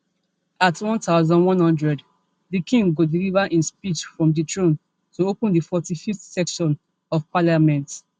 at one thousand, one hundred di king go deliver im speech from di throne to open di forty-fiveth session of parliament